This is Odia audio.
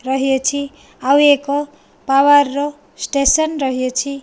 ରହିଅଛି ଆଉ ଏକ ପାୱାର ର ଷ୍ଟେସନ ରହିଅଛି।